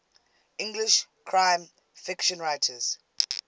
english crime fiction writers